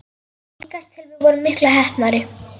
Líkast til vorum við miklu heppnari.